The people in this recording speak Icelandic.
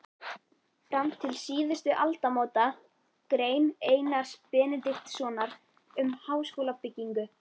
Fram til síðustu aldamóta- Grein Einars Benediktssonar um háskólabyggingu